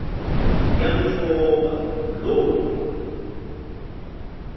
yamthoba loo nto